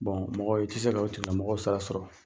mɔgɔ i tɛ se ka o tigila mɔgɔ sara sɔrɔ.